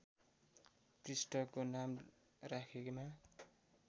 पृष्ठको नाम राखेमा